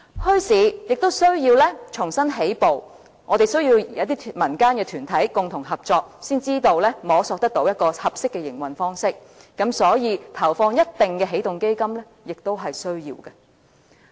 墟市亦需要重新起步，我們需要民間團體共同合作，才能摸索出一個合適的營運方式，所以，投放一定金額的起動基金亦是需要的。